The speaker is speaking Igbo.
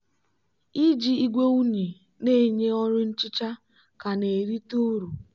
iji igwe unyi na-enye ọrụ nchicha ka na-erite uru.